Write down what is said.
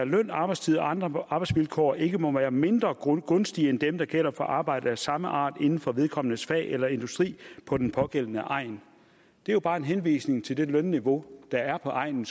løn og arbejdstid og andre arbejdsvilkår ikke må være mindre gunstige end dem der gælder for arbejde af samme art inden for vedkommendes fag eller industri på den pågældende egn det er jo bare en henvisning til det lønniveau der er på egnen